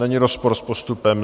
Není rozpor s postupem.